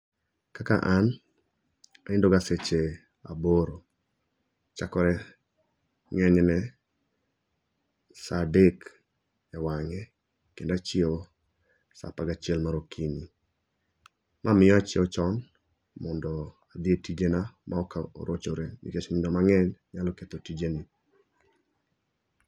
Kaka an, anindoga seche aboro. Chakore ng'enyne sa adek e wang'e kendo achio sa apagachiel mar okinyi. Ma miyo achieo chon, mondo adhi e tijena maok orochore nikech nindo mang'eny nyalo ketho tijeni.